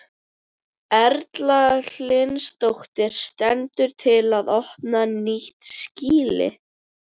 Erla Hlynsdóttir: Stendur til að opna nýtt skýli?